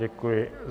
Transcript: Děkuji.